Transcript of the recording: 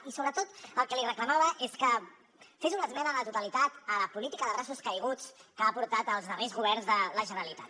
i sobretot el que li reclamava és que fes una esmena a la totalitat a la política de braços caiguts que han portat els darrers governs de la generalitat